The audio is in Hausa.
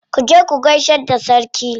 Ku je ku gaishe da sarki.